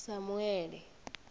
samuele